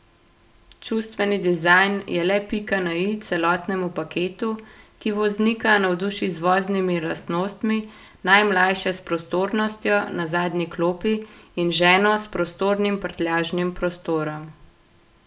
Čustveni dizajn je le pika na i celotnemu paketu, ki voznika navduši z voznimi lastnostmi, najmlajše s prostornostjo na zadnji klopi in ženo s prostornim prtljažnim prostorom.